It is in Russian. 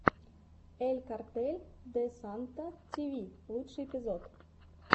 эль картель де санта ти ви лучший эпизод